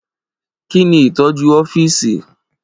Kí ni ìtọ́jú ọ́fíìsì?